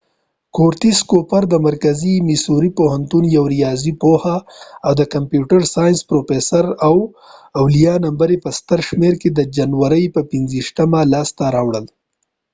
کورټیس کوپر د مرکزي میسوري پوهنتون یو ریاضي پوه او د کمپیوټر ساینس پروفیسر د اولیه نمبر په ستر شمېر کې د جنوري پر 25مه لاسته راوړل